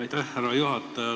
Aitäh, härra juhataja!